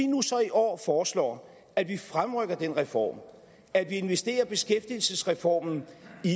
så i år foreslår at vi fremrykker den reform at vi investerer beskæftigelsesreformen